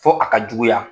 Fo a ka juguya